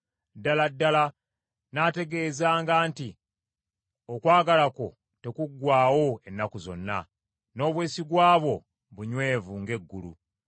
Ddala ddala nnaategeezanga nti okwagala kwo tekuggwaawo ennaku zonna; n’obwesigwa bwo bunywevu ng’eggulu.